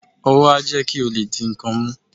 ówò a jé kí o lé dí nkán mú